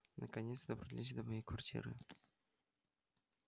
наконец добрались до моей квартиры